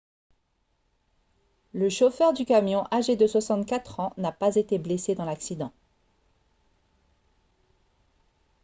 le chauffeur du camion âgé de 64 ans n'a pas été blessé dans l'accident